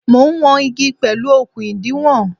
Mo ń wọn igi pẹ̀lú okun ìdiwọ̀n.